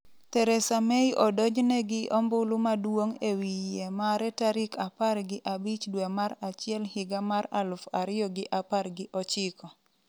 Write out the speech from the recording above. Theresa May odonjne gi 'ombulu maduong'' e wi yie mare tarik apar gi abich dwe mar achiel higa mar aluf ariyo gi apar gi ochiko